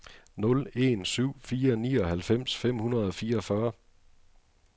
nul en syv fire nioghalvfems fem hundrede og fireogfyrre